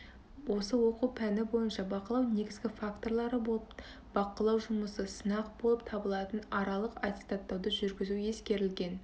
осы оқу пәні бойынша бақылау негізгі факторлары болып бақылау жұмысы сынақ болып табылатын аралық аттестаттауды жүргізу ескерілген